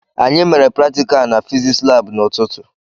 Anyị mere praticalu n'fiziks lab n'ututu m